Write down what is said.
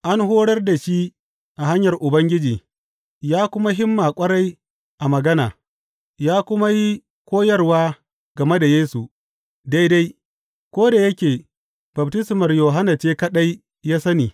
An horar da shi a hanyar Ubangiji, ya kuma himma ƙwarai a magana, ya kuma yi koyarwa game da Yesu, daidai, ko da yake baftismar Yohanna ce kaɗai ya sani.